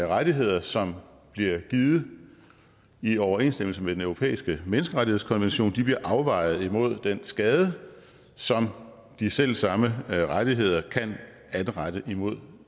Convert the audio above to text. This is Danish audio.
rettigheder som bliver givet i overensstemmelse med den europæiske menneskerettighedskonvention bliver afvejet mod den skade som de selv samme rettigheder kan anrette imod